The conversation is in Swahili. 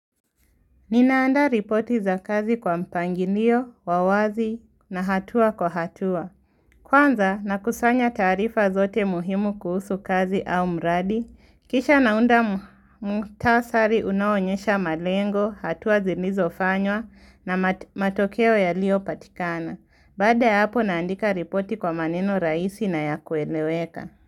Ninaanda ripoti za kazi kwa mpangilio, wawazi na hatua kwa hatua. Kwanza nakusanya taarifa zote muhimu kuhusu kazi au mradi. Kisha naunda muktasari unaonyesha malengo, hatua zilizofanywa na matokeo yalio patikana. Baada ya hapo naandika ripoti kwa maneno raisi na ya kueleweka.